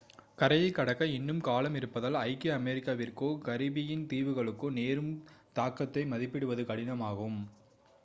கரையைக் கடக்க இன்னும் காலம் இருப்பதால் ஐக்கிய அமெரிக்காவிற்கோ கரிபியன் தீவுகளுக்கோ நேரும் தாக்கத்தை மதிப்பிடுவது கடினம் ஆகும்